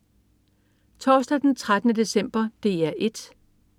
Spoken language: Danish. Torsdag den 13. december - DR 1: